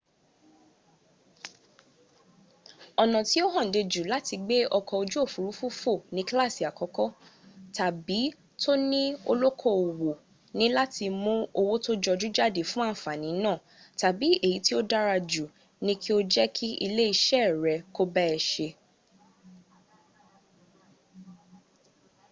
ọ̀nà tí ó hànde jù láti gbé ọkọ̀ ojú òfúrufú fò ní kílàsì àkọ́kọ́ tàbí to ní olókoòwò ni láti mún owó tó jọjú jáde fún àǹfàní náà tàbí èyí tí ó dára jù ni kí ó jẹ́ kí ilé iṣẹ́ rẹ̀ kó bá a se